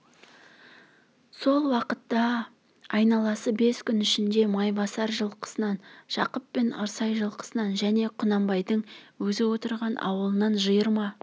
сол уақытта айналасы бес күн ішінде майбасар жылқысынан жақып пен ырсай жылқысынан және құнанбайдың өзі отырған аулынан жиырма